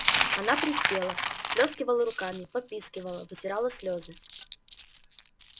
она приседала всплёскивала руками попискивала вытирала слезы